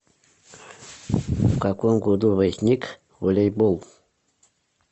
в каком году возник волейбол